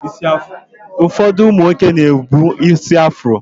Ụfọdụ ụmụ nwoke na-ebu ísí afro